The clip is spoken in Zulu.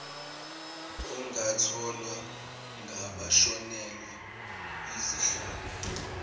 ongatholwa ngabashonelwa yizihlobo